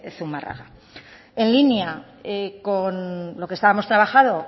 zumárraga en línea con lo que estábamos trabajando